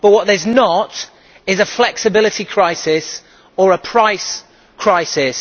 What there is not is a flexibility crisis or a price crisis.